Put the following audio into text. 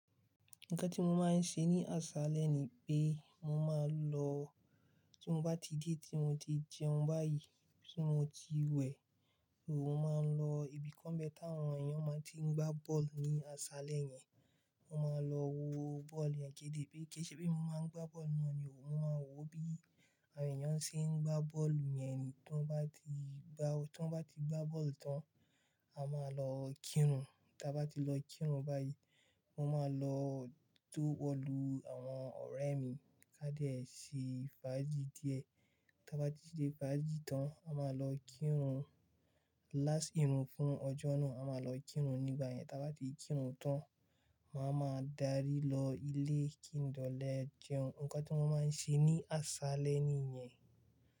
Nǹkan tí mo máa ń ṣe ní aṣalẹ̀ ni pé mo máa lọ, tí mo bá ti dé tí mo ti jẹun báyìí, tí mo ti wẹ̀, mo máa ń lọ ibi kan bẹ́ táwọn èèyàn máa tí ń gbá bọ́ọ̀lù ní aṣalẹ̀ yẹn. Mo máa lọ wo bọ́ọ̀lù yẹn ké de pé kí ṣe bí mo máa ń gbá bọ́ọ̀lù náà ni, mo máa wo bí àwọn èèyàn ṣe ń gbá bọ́ọ̀lù yẹn ni. Tí wọ́n bá ti gbá, tí wọ́n bá ti gbá bọ́ọ̀lù tán, a máa lọ kírun. Tí a bá ti lọ kírun báyìí, mo máa lọ tó ọlú àwọn ọ̀rẹ́ mi ká dẹ̀ sí fàájì díẹ̀. Tí a bá ti ṣé fàájì tán, a máa lọ kírun. Láás irun fún ọjọ́ náà, a máa lọ kírun. Nígbà yẹn tí a bá ti kírun tán, màá ma darí lọ ilé kí n dẹ lọ jẹun. Ǹkan tí wọ́n máa ń ṣe ní aṣalẹ̀ nìyẹn.